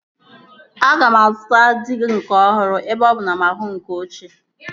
Aga m azụta diga ọhụrụ ebe ọ bụ na mụ ahụghị nke ochie